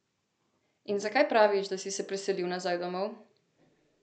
In zakaj praviš, da si se preselil nazaj domov?